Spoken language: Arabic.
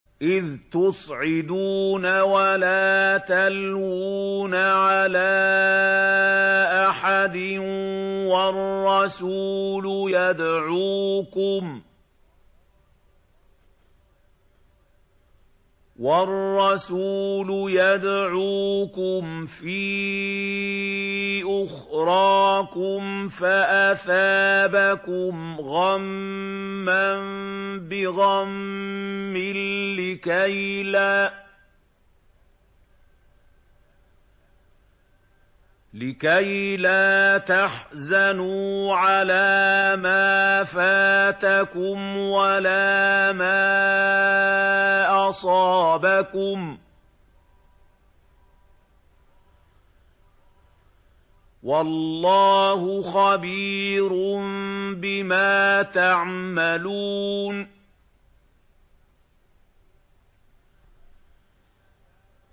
۞ إِذْ تُصْعِدُونَ وَلَا تَلْوُونَ عَلَىٰ أَحَدٍ وَالرَّسُولُ يَدْعُوكُمْ فِي أُخْرَاكُمْ فَأَثَابَكُمْ غَمًّا بِغَمٍّ لِّكَيْلَا تَحْزَنُوا عَلَىٰ مَا فَاتَكُمْ وَلَا مَا أَصَابَكُمْ ۗ وَاللَّهُ خَبِيرٌ بِمَا تَعْمَلُونَ